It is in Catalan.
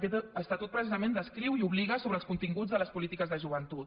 aquest estatut precisament descriu i obliga sobre els continguts de les polítiques de joventut